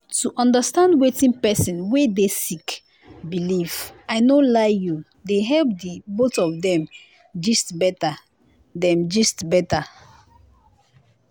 to understand wetin pesin wey dey sick believe i no lie you dey help di both of dem gist better. dem gist better.